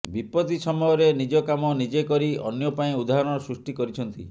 ବିପତ୍ତି ସମୟରେ ନିଜ କାମ ନିଜେ କରି ଅନ୍ୟ ପାଇଁ ଉଦାହାଣ ସୃଷ୍ଟି କରିଛନ୍ତି